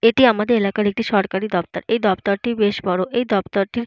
এটি আমাদের এলাকার একটি সরকারি দপ্তর। এই দফতর টি বেশ বড়ো। এই দফতর টির --